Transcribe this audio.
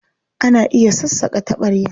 Ana iya sassaƙa taɓarya.